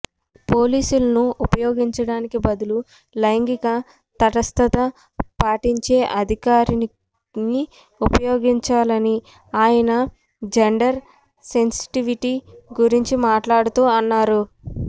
పోలీసులను ఉపయోగించడానికి బదులు లైంగిక తటస్థత పాటించే అధికారిని ఉపయోగించాలని ఆయన జెండర్ సెన్సిటివిటీ గురించి మాట్లాడుతూ అన్నారు